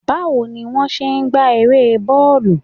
Bawo ni won se n gba ere bọọlu?